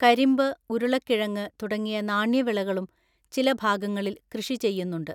കരിമ്പ്, ഉരുളക്കിഴങ്ങ് തുടങ്ങിയ നാണ്യവിളകളും ചില ഭാഗങ്ങളിൽ കൃഷി ചെയ്യുന്നുണ്ട്.